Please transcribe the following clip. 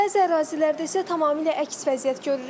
Bəzi ərazilərdə isə tamamilə əks vəziyyət görürük.